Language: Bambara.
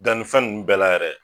Daninfɛn nunnu bɛɛ la yɛrɛ